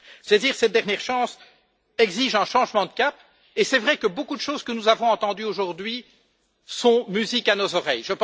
Saisir cette dernière chance exige un changement de cap et c'est vrai que beaucoup de choses que nous avons entendues aujourd'hui sont musique à nos oreilles.